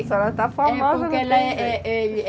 A senhora está famosa